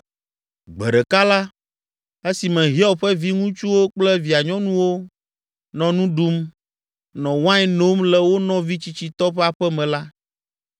Gbe ɖeka la, esime Hiob ƒe viŋutsuwo kple via nyɔnuwo nɔ nu ɖum, nɔ wain nom le wo nɔvi tsitsitɔ ƒe aƒe me la,